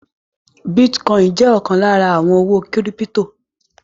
Bítíkọìnì jẹ́ ọ̀kan lára àwọn owó kírípítò.